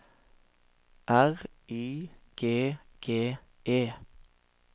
R Y G G E